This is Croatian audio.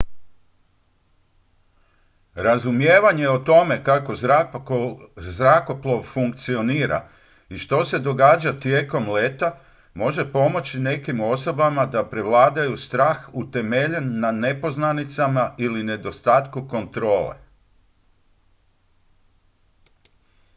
razumijevanje o tome kako zrakoplov funkcionira i što se događa tijekom leta može pomoći nekim osobama da prevladaju strah utemeljen na nepoznanicama ili nedostatku kontrole